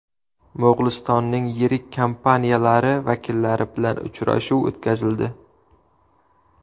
Mo‘g‘ulistonning yirik kompaniyalari vakillari bilan uchrashuv o‘tkazildi.